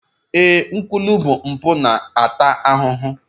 Ee, nkwulu bụ mpụ na-ata ahụhụ